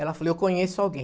Ela falou, eu conheço alguém.